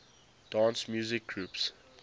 dance music groups